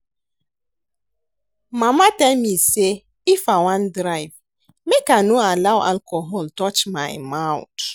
Mama tell me say if I wan drive make I no allow alcohol touch my mouth